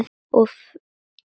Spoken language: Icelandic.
Og fer mikinn.